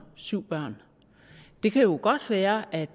syv børn det kan jo godt være at